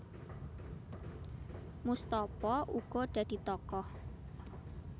Moestopo uga dadi tokoh